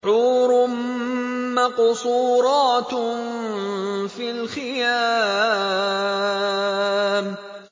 حُورٌ مَّقْصُورَاتٌ فِي الْخِيَامِ